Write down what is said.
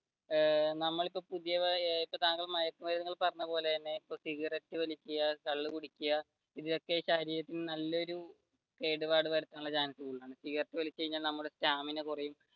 ഏർ താങ്കൾ ഇപ്പൊ മയക്കു മരുന്ന് പറഞ്ഞത് പോലെ തന്നെ സിഗരറ്റ് വലിക്കുക, കള്ള് കുടിക്കുക ഇതൊക്കെ ശരീരത്തിന് നല്ലയൊരു കേടുപാട് വരുത്താനുള്ള ചാൻസ് ഉണ്ട് സിഗരറ്റ് വലിച്ചു കഴിഞ്ഞാൽ നമ്മുടെ stamina കുറയും